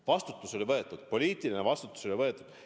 Vastutus oli võetud, poliitiline vastutus oli võetud.